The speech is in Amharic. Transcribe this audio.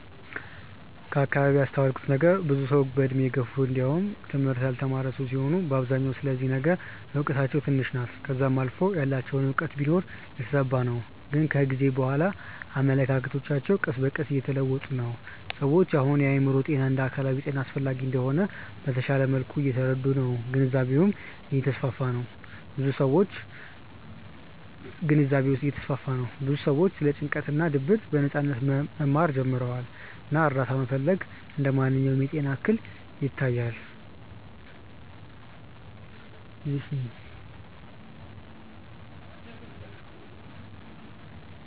ከአከባቢዬ ያስተዋልኩት ነገር ብዙ ሰዉ በእድሜ የገፉ እንዲውም ትምህርት ያልተማረ ሰዉ ሲሆኑ በአብዛኛው ስለዚህ ነገር እውቀታቸው ትንሽ ናት ከዛም አልፎ ያላቸውም እውቀት ቢኖር የተዛባ ነው ግን ከጊዜ በኋላ አመለካከቶች ቀስ በቀስ እየተለወጡ ነው። ሰዎች አሁን የአእምሮ ጤና እንደ አካላዊ ጤና አስፈላጊ እንደሆነ በተሻለ መልኩ እየተረዱ ነው ግንዛቤውም እየተስፋፋ ነው ብዙ ሰዎችም ስለ ጭንቀት እና ድብርት በነጻነት መናገር ጀምረዋል እና እርዳታ መፈለግ እንደ ማንኛውም የጤና እክል ይታያል።